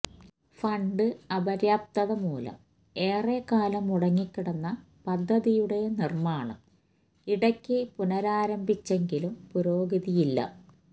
fund അപര്യാപ്തത മൂലം ഏറെ കാലം മുടങ്ങി കിടന്ന പദ്ധതിയുടെ നിര്മാണം ഇടക്ക് പുനരാരംഭിച്ചെങ്കിലും പുരോഗതിയില്ല